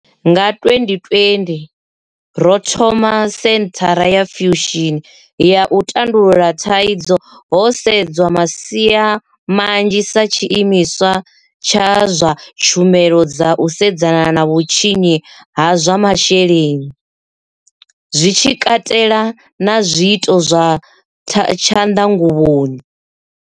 Nga 2020, ro thoma senthara ya Fusion ya u tandulula thaidzo ho sedzwa masia manzhi sa tshiimiswa tsha zwa tshumelo dza u sedzana na vhutshinyi ha zwa masheleni, zwi tshi katela na zwiito zwa tshanḓanguvhoni.